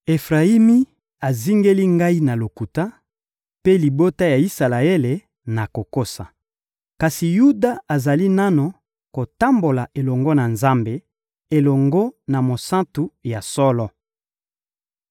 Efrayimi azingeli Ngai na lokuta, mpe libota ya Isalaele, na kokosa; kasi Yuda azali nanu kotambola elongo na Nzambe, elongo na Mosantu ya solo.